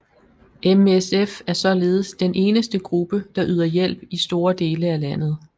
MSF er således den eneste gruppe der yder hjælp i store dele af landet